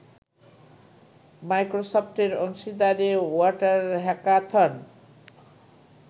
মাইক্রোসফটের অংশীদারে water hackathon